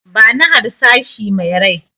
Bani harsashi me rai!